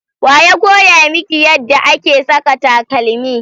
wa ya koya miki yadda ake saka takalmi?